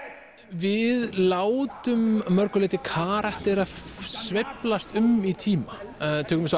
við látum að mörgu leyti karaktera sveiflast um í tíma eins og